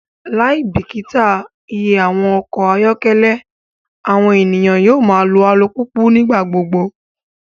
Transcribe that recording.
Laibikita iye awọn ọkọ ayọkẹlẹ, awọn eniyan yoo ma lo alupupu nigbagbogbo